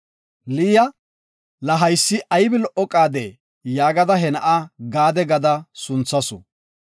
Liya, “La haysi aybi lo77o qaade!” yaagada, he na7a Gaade sunthasu.